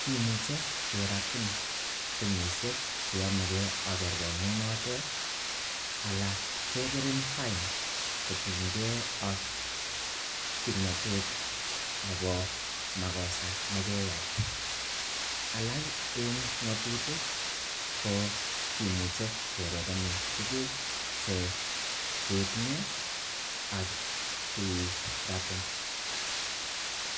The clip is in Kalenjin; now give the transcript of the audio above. kimuche keratin kenyishek che yomege ak kerkonnget notet ana kebirin fine kotinege ak kimnatet nebo makosa nekeyai alak en ng'atutik ko kimuche kerepenin tugukvche ketinye ak keratin.